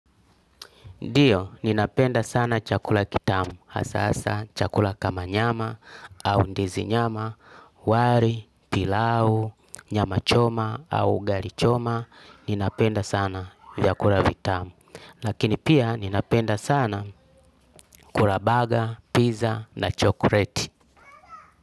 Ndiyo, ninapenda sana chakula kitamu, hasa hasa chakula kama nyama au ndizi nyama, wali, pilau, nyama choma au ugali choma, ninapenda sana vyakula vitamu. Lakini pia ninapenda sana kula baga, pizza na chokoleti.